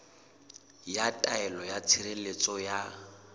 ya taelo ya tshireletso ya